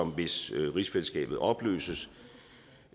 hvis rigsfællesskabet opløses